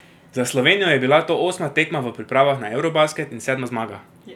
Za Slovenijo je bila to osma tekma v pripravah na eurobasket in sedma zmaga.